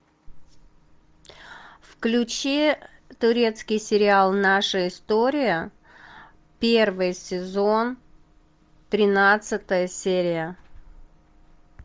включи турецкий сериал наша история первый сезон тринадцатая серия